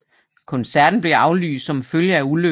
Koncerten blev aflyst som følge af ulykken